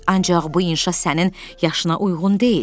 Ancaq bu inşa sənin yaşına uyğun deyil.